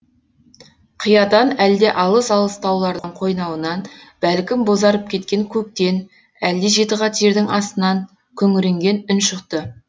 қиядан әлде алыс алыс таулардың қойнауынан бәлкім бозарып кеткен көктен әлде жетіқат жердің астынан күңіренген үн шықты